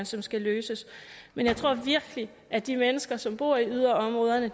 som skal løses men jeg tror virkelig at de mennesker som bor i yderområderne